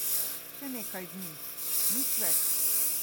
Še nekaj dni, nič več.